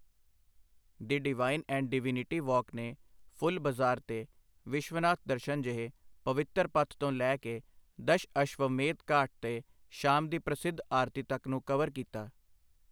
The divine and divinity walk ਨੇ ਫੁੱਲ ਬਾਜ਼ਾਰ ਤੇ ਵਿਸ਼ਵਨਾਥ ਦਰਸ਼ਨ ਜਿਹੇ ਪਵਿੱਤਰ ਪਥ ਤੋਂ ਲੈ ਕੇ ਦਸ਼ਅਸ਼ਵਮੇਧ ਘਾਟ ਤੇ ਸ਼ਾਮ ਦੀ ਪ੍ਰਸਿੱਧ ਆਰਤੀ ਤੱਕ ਨੂੰ ਕਵਰ ਕੀਤਾ।